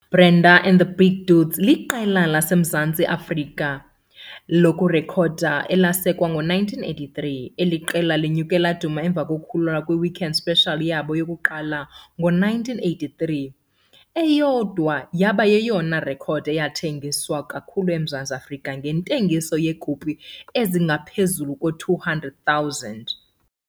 Brenda and the Big Dudes liqela laseMzantsi Afrika lokurekhoda elasekwa ngo-1983. Eli qela lenyuke laduma emva kokukhululwa kwe- "Weekend Special" yabo yokuqala ngo-1983. Eyodwa yaba yeyona rekhodi yathengiswa kakhulu eMzantsi Afrika ngentengiso yeekopi ezingaphezulu kwama-200,000.